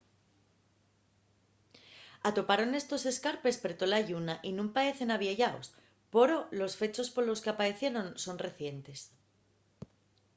toparon estos escarpes per tola lluna y nun paecen avieyaos poro los fechos polos qu'apaecieron son recientes